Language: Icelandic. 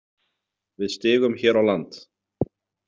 Við stigum hér á land.